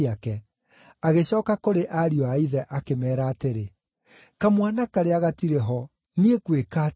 Agĩcooka kũrĩ ariũ a ithe akĩmeera atĩrĩ, “Kamwana karĩa gatirĩ ho! Niĩ ngwĩka atĩa?”